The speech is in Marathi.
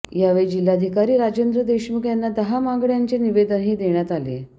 यावेळी जिल्हाधिकारी राजेंद्र देशमुख यांना दहा मागण्यांचे निवेदनही देण्यात आले